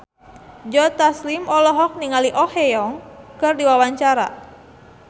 Joe Taslim olohok ningali Oh Ha Young keur diwawancara